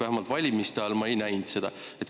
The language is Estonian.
Vähemalt valimiste ajal ma seda ei näinud.